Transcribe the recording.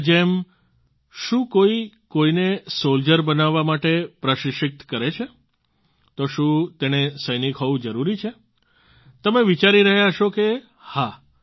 હવે જેમ શું કોઈ કોઈને સોલ્જર બનવા માટે પ્રશિક્ષિત કરે છે તો શું તેણે સૈનિક હોવું જરૂરી છે તમે વિચારી રહ્યા હશો કે હા